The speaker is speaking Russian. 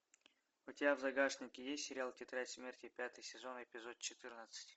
у тебя в загашнике есть сериал тетрадь смерти пятый сезон эпизод четырнадцать